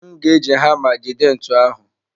M ga-eji hama jide ntu ahụ.